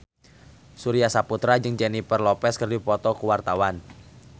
Surya Saputra jeung Jennifer Lopez keur dipoto ku wartawan